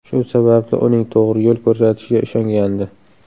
Shu sababli uning to‘g‘ri yo‘l ko‘rsatishiga ishongandi.